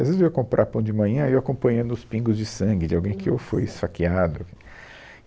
Às vezes eu ia comprar pão de manhã e eu ia acompanhando os pingos de sangue de alguém que ou foi esfaqueado.